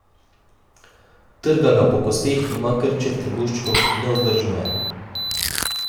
Trga ga po kosteh, ima krče v trebuščku, nevzdržno je.